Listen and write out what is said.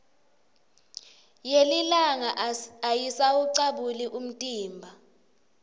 yelilanga ayisawucabuli umtimba